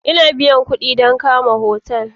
Ina biyan kuɗi dan kama hotel